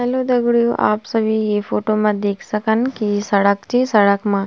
हेल्लो दगड़ियों आप सभी ये फोटो मा देख सकन की सड़क च सड़क मा --